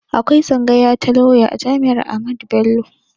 Akwai tsangaya ta lauya a jami'ar Ahmadu Bello